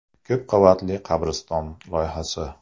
Ko‘p qavatli qabriston loyihasi.